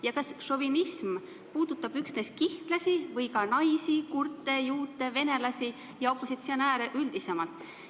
Ja kas šovinism puudutab üksnes kihnlasi või ka naisi, kurte, juute, venelasi ja opositsionääre üldisemalt?